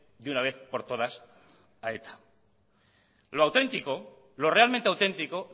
de una vez por todas a eta lo auténtico lo realmente auténtico